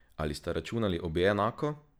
Ali sta računali obe enako?